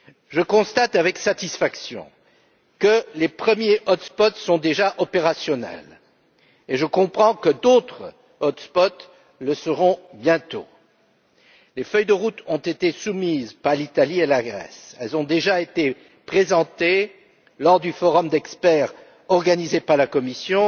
Je constate avec satisfaction que les premiers hotspots sont déjà opérationnels et je comprends que d'autres hotspots le seront bientôt. Les feuilles de route ont été soumises par l'Italie et la Grèce, elles ont déjà été présentées lors du forum d'experts organisé par la Commission